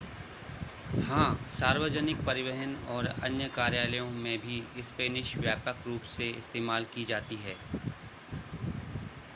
हां सार्वजनिक परिवहन और अन्य कार्यालयों में भी स्पेनिश व्यापक रूप से इस्तेमाल की जाती है